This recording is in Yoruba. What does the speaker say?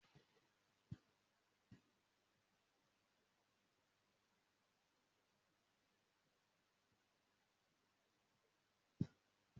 Mo máa lọ sa àgbálùmọ̀ ní ọlá.